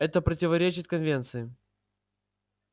это противоречит конвенции